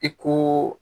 I ko